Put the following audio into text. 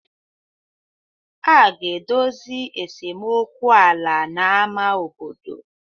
A ga-edozi esemokwu ala na ámá obodo.